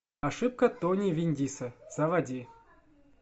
ошибка тони вендиса заводи